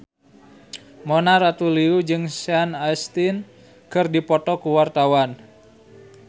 Mona Ratuliu jeung Sean Astin keur dipoto ku wartawan